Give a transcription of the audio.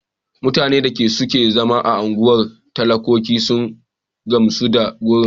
Mutanen da suke zama a unguwar talakoki sun gamsu da gurin.